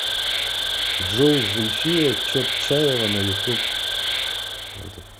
джой зульфия чотчаева на ютуб